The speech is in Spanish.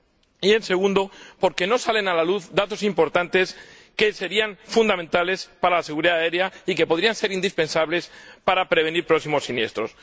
y en segundo lugar, porque no salen a la luz datos importantes que serían fundamentales para la seguridad aérea y que podrían ser indispensables para prevenir próximos siniestros.